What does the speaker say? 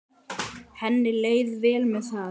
Henni leið vel með það.